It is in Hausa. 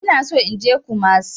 Ina so in je kumasi.